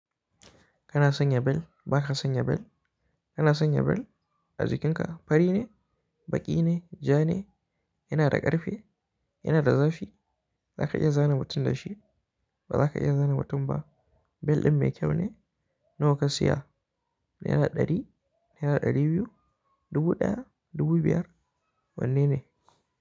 Kana son yabel? Ba ka son yabel? Kana son yabel? Aji kinka fari ne, baƙi ne, ja ne, yana da ƙarfi, yana da zafi, za ka iya zane mutum da shi, ba za ka iya zane mutum ba? Bel ɗin me kyau ne? Nawa ka siya? Naira ɗari, naira ɗari biyu, dubu ɗaya, dubu biyar, wanne ne?